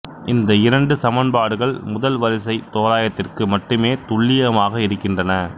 இந்த இரண்டு சமன்பாடுகள் முதல் வரிசை தோராயத்திற்கு மட்டுமே துல்லியமாக இருக்கின்றன